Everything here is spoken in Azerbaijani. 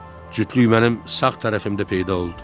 Cütlük mənim sağ tərəfimdə peyda oldu.